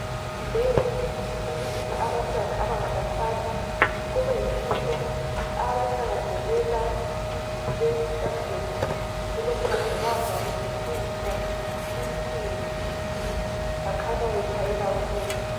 Kuyande ukuthi abantwana abangabafana kube yibo abathakazelela leli isabhujekithi elokubambabamba kulungilungiswa insimbi , bakhanya bethabe kakhulu.